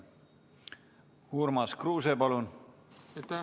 Urmas Kruuse, palun!